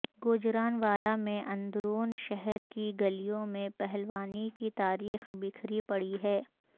گوجرانوالہ میں اندرون شہر کی گلیوں میں پہلوانی کی تاریخ بکھری پڑی ہے